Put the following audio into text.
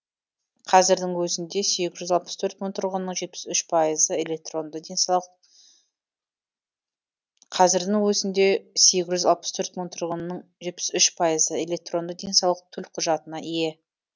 қазірдің өзінде сегіз жүз алып төрт мың тұрғынның жетпіс үш пайызы электронды денсаулық төлқұжатына ие